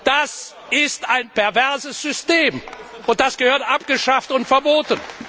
Das ist ein perverses System, und das gehört abgeschafft und verboten.